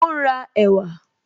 Ó n ra ẹ̀wà